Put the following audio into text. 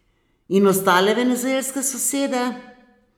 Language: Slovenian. In ostale venezuelske sosede?